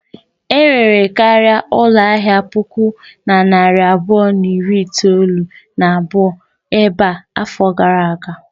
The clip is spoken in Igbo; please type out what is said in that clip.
Enwere karịa ụlọ ahịa puku na narị abụọ na iri itolu na abụọ ebe a afọ gara aga.